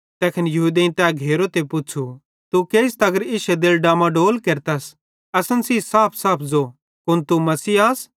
तैखन यहूदेईं तै घेरो ते पुच़्छ़ू तू केइस तगर इश्शे दिले डामाडोल केरतस असन सेइं साफसाफ ज़ो कुन तू मसीह आस